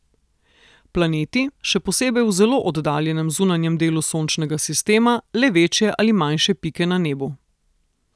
Planeti, še posebej v zelo oddaljenem zunanjem delu sončnega sistema, le večje ali manjše pike na nebu.